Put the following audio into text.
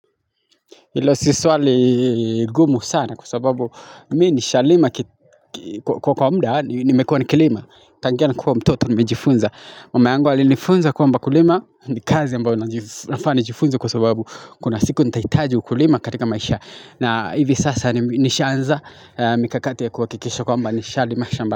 Ilo si swali gumu sana kwa sababu mimi nishalima kwa kwa muda nimekua nikilima. Tangia nikiwa mtoto nimejifunza. Mama yangu alinifunza kwamba kulima ni kazi ambayo nafaa nijifunze kwa sababu kuna siku nitahitaji ukulima katika maisha. Na hivi sasa nishaanza mikakati ya kuhakikisha kwamba nishalima shamba.